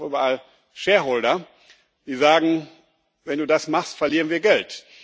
Aber es gibt auch überall Shareholder, die sagen Wenn du das machst, verlieren wir Geld.